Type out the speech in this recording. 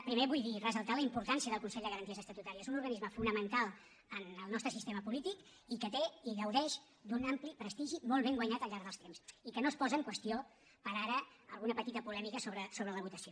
primer vull dir ressaltar la importància del consell de garanties estatutàries un organisme fonamental en el nostre sistema polític i que té i gaudeix d’un ampli prestigi molt ben guanyat al llarg dels temps i que no es posa en qüestió per ara alguna petita polèmica sobre la votació